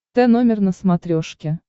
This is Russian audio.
тномер на смотрешке